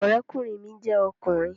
Ọ̀rẹ́kùnrin mi jẹ́ ọkùnrin